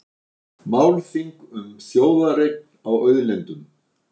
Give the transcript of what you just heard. Málþing um þjóðareign á auðlindum